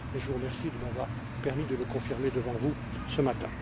Je vous remercie de m'avoir permis de le confirmer devant vous ce matin.